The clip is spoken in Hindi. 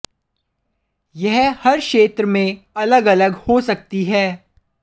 यह हर क्षेत्र में अलग अलग हो सकती है